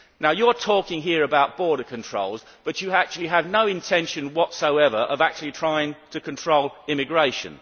You talk here about border controls, but you have no intention whatsoever of actually trying to control immigration.